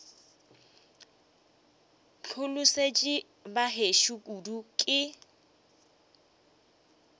hlolosetšwe ba gešo kudu ke